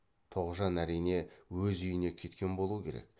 тоғжан әрине өз үйіне кеткен болу керек